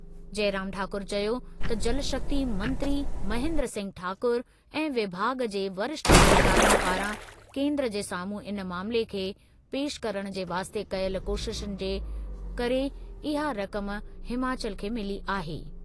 जइराम ठाकुर चयो त जलशक्ति मंत्री महेन्द्र सिंह ठाकुर ऐं विभाॻु जे वरिष्ठ अधिकारियुनि पारां केंद्र जे साम्हूं इन मामले खे पेशि करणु जे वास्ते कयल कोशिशुनि जे करे इहा रक़म हिमाचल खे मिली आहे।